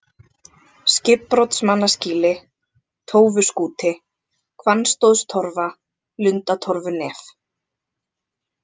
Skipbrotsmannaskýli, Tófuskúti, Hvannstóðstorfa, Lundatorfunef